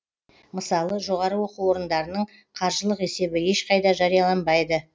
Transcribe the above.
мысалы жоғары оқу орындарының қаржылық есебі ешқайда жарияланбайды